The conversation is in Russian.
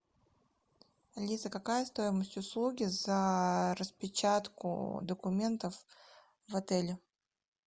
алиса какая стоимость услуги за распечатку документов в отеле